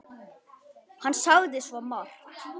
Hann sagði svo margt.